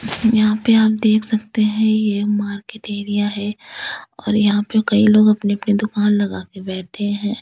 यहां पे आप देख सकते हैं यह मार्केट एरिया है और यहां पे कई लोग अपनी-अपनी दुकान लगा के बैठे हैं।